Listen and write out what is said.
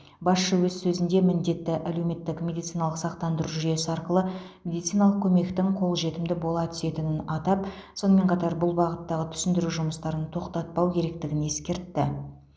басшы өз сөзінде міндетті әлеуметтік медициналық сақтандыру жүйесі арқылы медициналық көмектің қол жетімді бола түсетінін атап сонымен қатар бұл бағыттағы түсіндіру жұмыстарын тоқтатпау керектігін ескертті